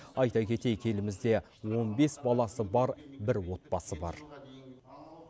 айта кетейік елімізде он бес баласы бар бір отбасы бар